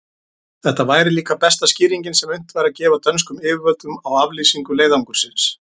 Þetta væri líka besta skýringin, sem unnt væri að gefa dönskum yfirvöldum á aflýsingu leiðangursins.